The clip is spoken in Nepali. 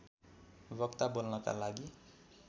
वक्ता बोल्नका लागि